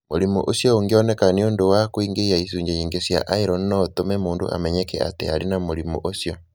Mũrimũ ũcio ũngĩoneka nĩ ũndũ wa kũingĩhia icunjĩ nyingĩ cia iron no ũtũme mũndũ amenyeke atĩ arĩ na mũrimũ ũcio.